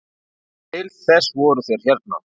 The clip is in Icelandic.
Til þess voru þeir hérna.